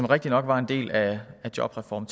rigtig nok var en del af jobreform